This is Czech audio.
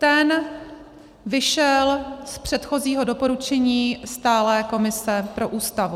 Ten vyšel z předchozího doporučení stálé komise pro Ústavu.